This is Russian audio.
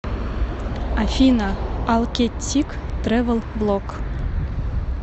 афина алкеттик трэвэл влог